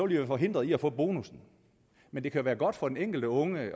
de forhindret i at få bonussen men det kan være godt for den enkelte unge